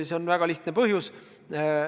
Sellel on väga lihtne põhjus.